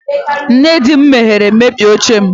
Nne di m mehiere mebie oche m.